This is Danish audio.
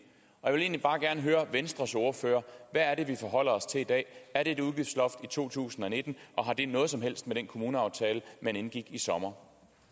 jeg vil egentlig bare gerne høre venstres ordfører hvad er det vi forholder os til i dag er det et udgiftsloft i to tusind og nitten og har det noget som helst med den kommuneaftale man indgik i sommer